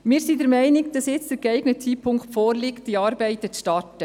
Wir sind der Meinung, es ist jetzt der geeignete Zeitpunkt, um mit den Arbeiten zu starten.